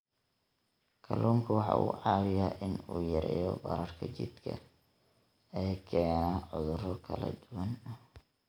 Kalluunku waxa uu caawiyaa in uu yareeyo bararka jidhka ee keena cudurro kala duwan.